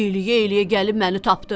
İləyə-iləyə gəlib məni tapdı.